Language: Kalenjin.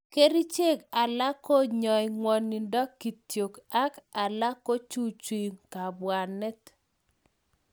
Kerchek alak konyai ngwanindo kityo ak alak kochuchui kapwanet